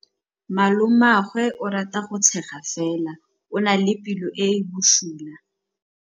Malomagwe o rata go tshega fela o na le pelo e e bosula.